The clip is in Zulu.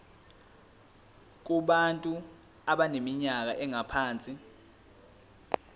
kubantu abaneminyaka engaphansi